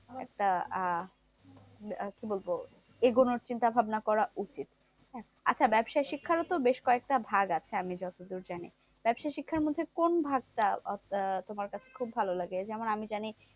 একটা আহ কি বলবো? এগোনোর চিন্তা ভাবনা করা উচিত। আচ্ছা ব্যবসায়ী শিক্ষারও তো বেশ কয়েকটা ভাগ আছে, আমি যতদূর জানি? ব্যবসায়ী শিক্ষার মধ্যে কোন ভাগটা আহ তোমার কাছে খুব ভালো লাগে? যেমন আমি যানি